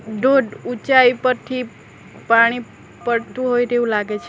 ધોધ ઊંચાઈ પરથી પાણી પડતું હોય તેવું લાગે છે.